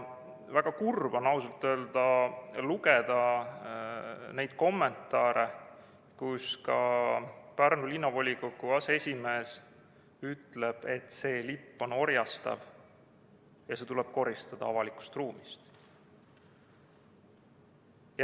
Väga kurb on ausalt öelda lugeda neid kommentaare, kus ka Pärnu Linnavolikogu aseesimees ütleb, et see lipp on orjastav ja see tuleb koristada avalikust ruumist.